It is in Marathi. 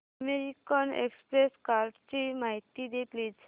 अमेरिकन एक्सप्रेस कार्डची माहिती दे प्लीज